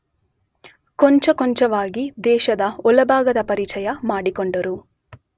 ಕೊಂಚಕೊಂಚವಾಗಿ ದೇಶದ ಒಳಭಾಗದ ಪರಿಚಯ ಮಾಡಿಕೊಂಡರು.